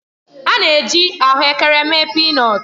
A na-esi ahụ ekere mee pịnọtu.